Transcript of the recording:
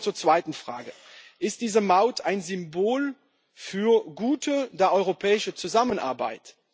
Ich komme zur zweiten Frage Ist diese Maut ein Symbol für gute europäische Zusammenarbeit?